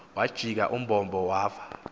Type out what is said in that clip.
wajika umbombo wava